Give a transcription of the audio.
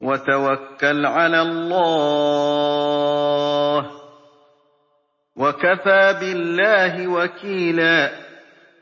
وَتَوَكَّلْ عَلَى اللَّهِ ۚ وَكَفَىٰ بِاللَّهِ وَكِيلًا